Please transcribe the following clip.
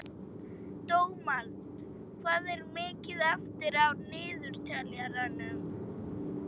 Dómald, hvað er mikið eftir af niðurteljaranum?